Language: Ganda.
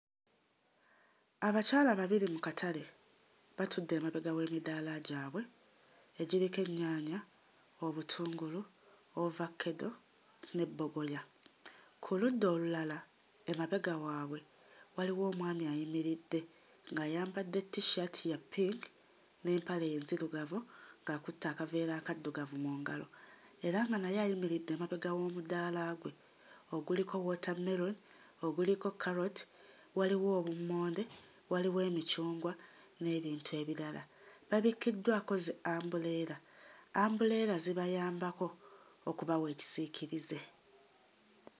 Abakyala babiri mu katale batudde emabega w'emidaala gyabwe egiriko ennyaanya, obutungulu, ovakkedo ne bbogoya. Ku ludda olulala emabega waabwe waliwo omwami ayimiridde ng'ayambadde t-shirt ya ppinki n'empale enzirugavu akutte akaveera akaddugavu mu ngalo era nga naye ayimiridde emabega w'omudaala gwe oguliko wootammeloni, oguliko kkaloti, waliwo obummonde, waliwo emicungwa, n'ebintu ebirala. Babikkiddwako zi-ambuleera. Ambuleera zibayambako okubawa ekisiikirize.